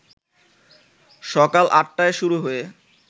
সকাল আটটায় শুরু হয়ে